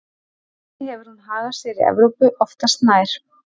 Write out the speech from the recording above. Þannig hefur hún hagað sér í Evrópu oftast nær.